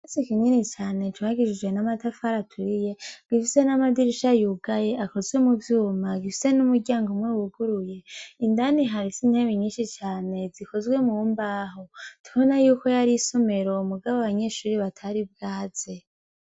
Ikirasi kinini cane cubakishije amatafari aturiye gifise namadirisha yugaye akozwe muvyuma, gifise n'umuryango umwe wuguruye, indani har'intebe nyinshi cane zikozwe mu mbaho tubona yuko yar'isomero mugabo abanyeshure batari bwaze.